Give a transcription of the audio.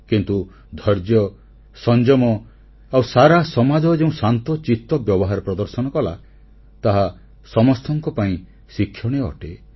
କିନ୍ତୁ ଧୈର୍ଯ୍ୟ ସଂଯମ ଆଉ ସାରା ସମାଜ ଯେଉଁ ଶାନ୍ତଚିତ ବ୍ୟବହାର ପ୍ରଦର୍ଶନ କଲା ତାହା ସମସ୍ତଙ୍କ ପାଇଁ ଶିକ୍ଷଣୀୟ ଅଟେ